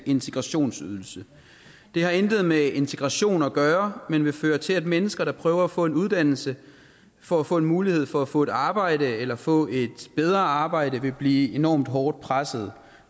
integrationsydelse det har intet med integration at gøre men vil føre til at mennesker der prøver at få en uddannelse for at få en mulighed for at få et arbejde eller få et bedre arbejde vil blive enormt hårdt pressede